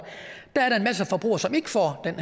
er forbrugere som ikke får den